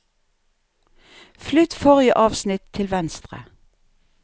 Flytt forrige avsnitt til venstre